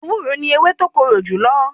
Ewúro ni ewé tó korò jùlọ.